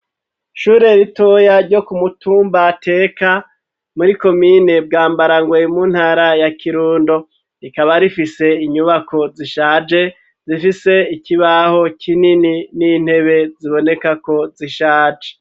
Ishure ritoya ryo ku mutumba Teka muri komine Bwambarangwe yo mu ntara ya Kirundo, rikaba rifise inyubako zishaje zifise ikibaho kinini n'intebe ziboneka ko zishaje.